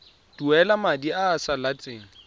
duela madi a a salatseng